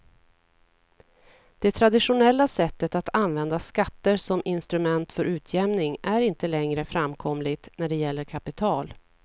Det traditionella sättet att använda skatter som instrument för utjämning är inte längre framkomligt när det gäller kapital.